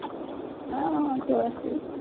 ହଁ ହଁ ତୁଳସୀ